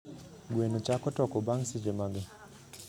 gweno chako toko bang seche mage